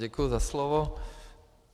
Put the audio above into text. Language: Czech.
Děkuji za slovo.